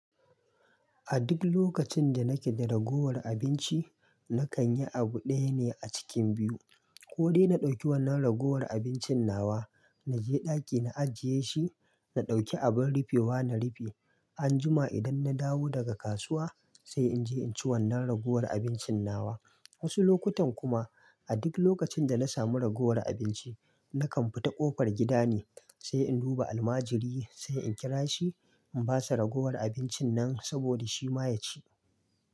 A duk lokacin da nake da ragowar abinci, na kan yi abu ɗaya ne a cikin biyu. Ko dai na ɗauki wannan ragowar abincin nawa, na je ɗaki na ajiye shi, na ɗauki abin rufewa na rufe. Anjima idan na dawo daga kasuwa sai in je in ci wannan ragowar abincin nawa. Wasu lokutan kuma a duk lokacin da na samu ragowar abinci, na kan fita ƙofar gida ne, sai in duba almajiri, sai in kira shi in ba sa ragowar abincin nan saboda shi ma ya ci.